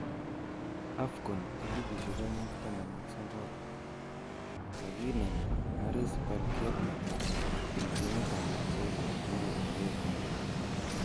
AFCON 2019:Kaginem Haris Belkebla eng timit ab Algeria amu atebet ne ya.